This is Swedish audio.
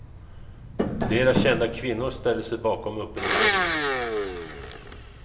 Flera kända kvinnor ställer sig bakom uppropet.